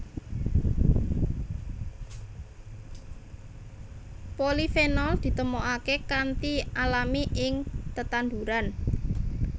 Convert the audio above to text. Polifenol ditemokaké kanthi alami ing tetanduran